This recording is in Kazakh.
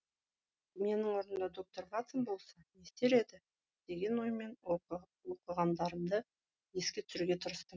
менің орнымда доктор ватсон болса не істер еді деген оймен оқығандарымды еске түсіруге тырыстым